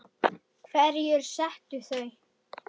Hverjir settu þau?